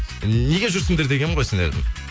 неге жүрсіңдер дегенім ғой сендердің